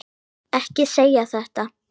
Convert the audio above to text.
Ekki segja þetta!